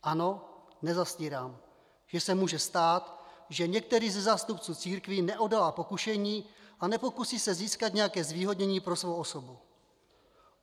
Ano, nezastírám, že se může stát, že některý ze zástupců církví neodolá pokušení a pokusí se získat nějaké zvýhodnění pro svou osobu.